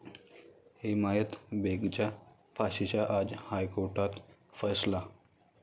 हिमायत बेगच्या फाशीचा आज हायकोर्टात फैसला